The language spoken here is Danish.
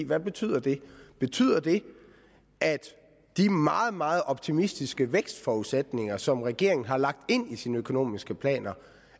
hvad betyder det betyder det at de meget meget optimistiske vækstforudsætninger som regeringen har lagt ind i sine økonomiske planer